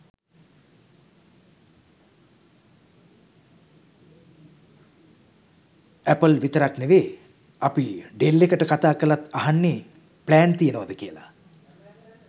Apple විතරක් නෙවේ අපි ඩෙල් එකට කතා කලත් අහන්නෙ ප්ලෑන් තියෙනවද කියල.